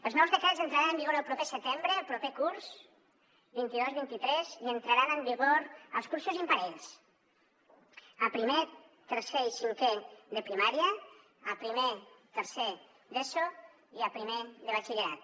els nous decrets entraran en vigor el proper setembre el proper curs vint dos vint tres i entraran en vigor els cursos imparells a primer tercer i cinquè de primària a primer tercer d’eso i a primer de batxillerat